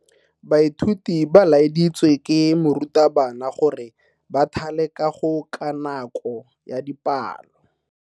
Baithuti ba laeditswe ke morutabana gore ba thale kago ka nako ya dipalo.